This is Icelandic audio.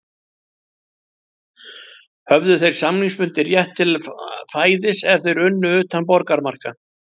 Höfðu þeir samningsbundinn rétt til fæðis ef þeir unnu utan borgarmarka